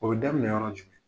O be daminɛ yɔrɔ jumɛn ?